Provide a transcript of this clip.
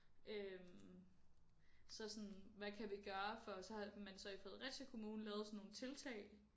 Øh så sådan hvad kan vi gøre for så har man så i Fredericia kommune lavet sådan nogle tiltag